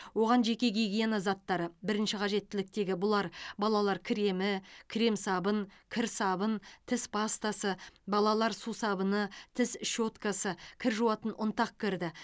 оған жеке гигиена заттары бірінші қажеттіліктегі бұлар балалар кремі крем сабын кір сабын тіс пастасы балалар сусабыны тіс щеткасы кір жуатын ұнтақ кірді